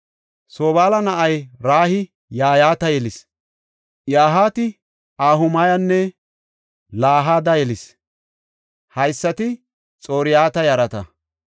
Sobaala na7ay Rayi Yahaata yelis; Yahaati Ahumayanne Lahada yelis. Haysati Xor7ata yarata.